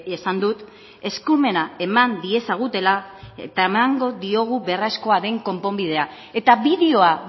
esan dut eskumena eman diezagutela eta emango diogu beharrezkoa den konponbidea eta bideoa